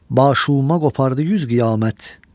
Başuma qopardı yüz qiyamət.